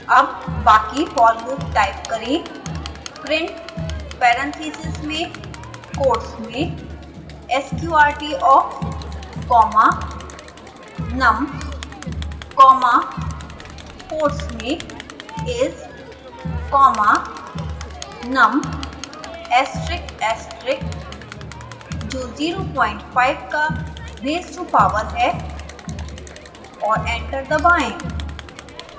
अब बाकी for loop type करें